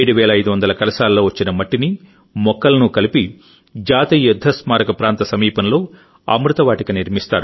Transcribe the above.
7500 కలశాల్లో వచ్చిన మట్టిని మొక్కలను కలిపి జాతీయ యుద్ధ స్మారక ప్రాంత సమీపంలో అమృత వాటిక నిర్మిస్తారు